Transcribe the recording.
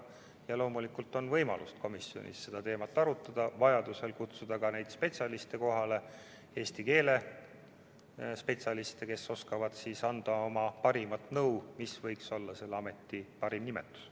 Loomulikult on võimalus komisjonis seda teemat arutada ja vajadusel kutsuda kohale ka eesti keele spetsialiste, kes oskavad anda oma nõu, mis võiks olla selle ameti parim nimetus.